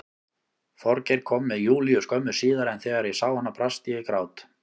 Þorgeir kom með Júlíu skömmu síðar en þegar ég sá hana brast ég í grát.